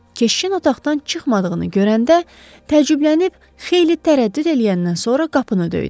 Keşişin otaqdan çıxmadığını görəndə tərəddüdlənib xeyli tərəddüd eləyəndən sonra qapını döydü.